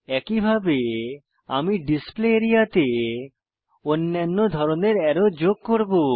একইভাবে আমি display area তে অন্যান্য ধরনের অ্যারো যোগ করব